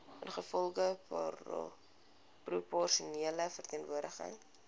ingevolge proporsionele verteenwoordiging